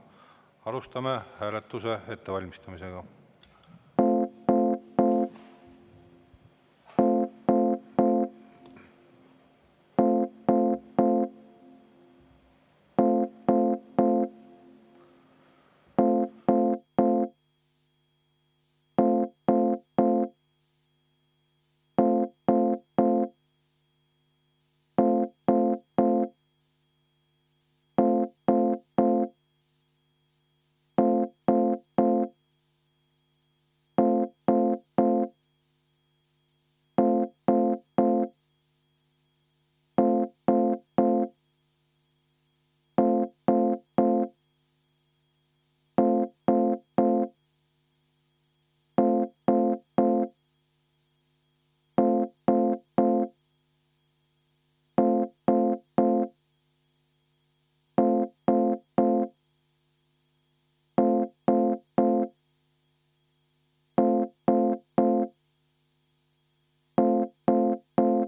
Alustame hääletuse ettevalmistamist.